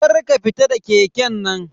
Kar ka fita da keken nan.